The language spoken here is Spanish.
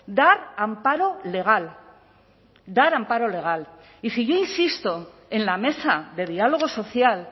dar amparo legal dar amparo legal y si yo insisto en la mesa de diálogo social